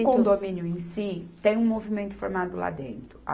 O condomínio em si, tem um movimento formado lá dentro.